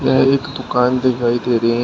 यह एक दुकान दिखाई दे रही हैं।